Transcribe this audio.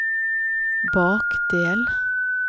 bakdel